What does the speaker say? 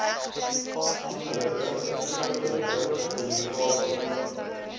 amptelike skriftelike kommunikasie